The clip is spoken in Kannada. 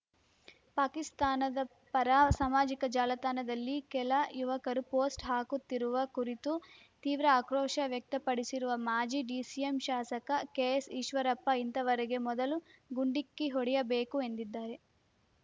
ಪಾಕಿಸ್ತಾನದ ಪರ ಸಾಮಾಜಿಕ ಜಾಲತಾಣದಲ್ಲಿ ಕೆಲ ಯುವಕರು ಪೋಸ್ಟ್‌ ಹಾಕುತ್ತಿರುವ ಕುರಿತು ತೀವ್ರ ಆಕ್ರೋಶ ವ್ಯಕ್ತಪಡಿಸಿರುವ ಮಾಜಿ ಡಿಸಿಎಂ ಶಾಸಕ ಕೆಎಸ್‌ಈಶ್ವರಪ್ಪ ಇಂತವರಿಗೆ ಮೊದಲು ಗುಂಡಿಕ್ಕಿ ಹೊಡೆಯಬೇಕು ಎಂದಿದ್ದಾರೆ